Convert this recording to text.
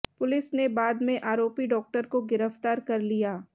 police ने बाद में आरोपी डॉक्टर को गिरफ्तार कर लिया